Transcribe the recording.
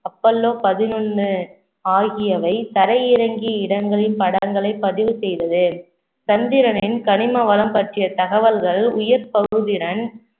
Apollo பதினொன்னு ஆகியவை தரையிறங்கிய இடங்களின் படங்களை பதிவு செய்தது சந்திரனின் கனிம வளம் பற்றிய தகவல்கள் உயர் பகுதிறன்